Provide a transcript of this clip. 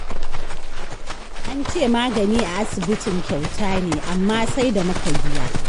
An ce magani a asibitin kyauta ne, amma sai da muka biya